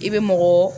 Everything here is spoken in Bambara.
I bɛ mɔgɔ